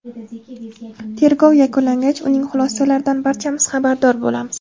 Tergov yakunlangach, uning xulosalaridan barchamiz xabardor bo‘lamiz.